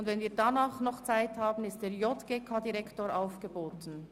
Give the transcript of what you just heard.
Wenn wir danach noch Zeit haben, wird der JGK-Direktor aufgeboten.